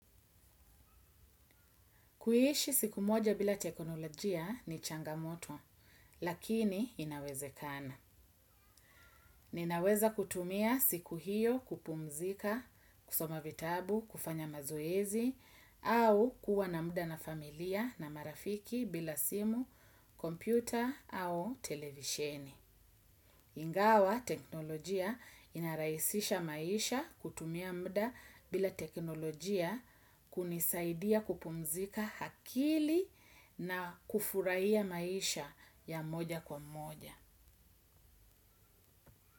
Kuhishi siku moja bila teknolojia ni changamoto, lakini inaweze kana. Ninaweza kutumia siku hiyo kupumzika, kusomavitabu, kufanya mazoezi, au kuwa na muda na familia na marafiki bila simu, kompyuta au televisheni. Ingawa teknolojia inaraisisha maisha kutumia mda bila teknolojia kunisaidia kupumzika hakili na kufuraiya maisha ya moja kwa moja.